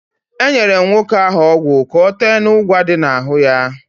Enyere m nwoke ahụ ọgwụ ka ọ tee n'ụgwa dị ya n'ahụ.